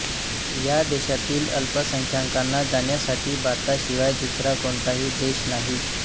या देशातील अल्पसंख्यकांना जाण्यासाठी भारताशिवाय दुसरा कोणताही देश नाही